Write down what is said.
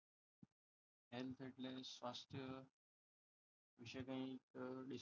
વિશે કંઈક